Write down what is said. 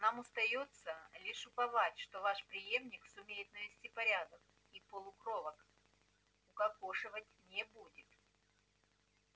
нам остаётся лишь уповать что ваш преемник сумеет навести порядок и полукровок укокошивать не будет